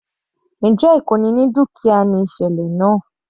Njẹ́ ìkóni ní dúkìá ni ìsẹ̀lẹ̀ náà?